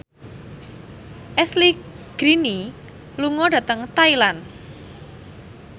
Ashley Greene lunga dhateng Thailand